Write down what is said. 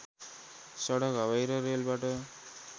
सडक हवाई र रेलबाट